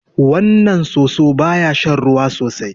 Wannan soso ba ya shan ruwa sosai.